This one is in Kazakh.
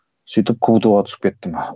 сөйтіп кбту ға түсіп кеттім